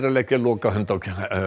að leggja lokahönd á